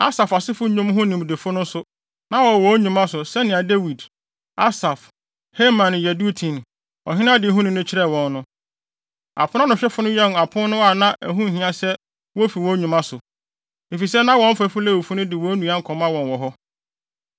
Asaf asefo nnwom ho nimdefo no nso, na wɔwɔ wɔn nnwuma so, sɛnea Dawid, Asaf, Heman ne Yedutun, ɔhene adehuni no kyerɛɛ wɔn no. Aponanohwɛfo no wɛn apon no a na ɛho nhia sɛ wofi wɔn nnwuma so, efisɛ na wɔn mfɛfo Lewifo no de wɔn nnuan kɔma wɔn wɔ hɔ.